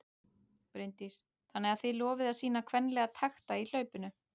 Bryndís: Þannig að þið lofið að sýna kvenlega takta í hlaupinu?